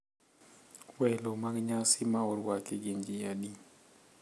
Welo mag nyasi ma orwaki gin ji adi?